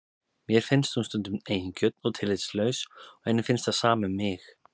Mér finnst hún stundum eigingjörn og tillitslaus og henni finnst það sama um mig.